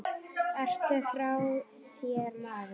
Ertu frá þér maður?